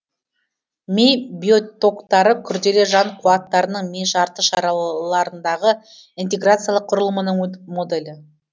ми биотоктары күрделі жан қуаттарының ми жарты шара ларындағы интеграциялық құрылымынының моделі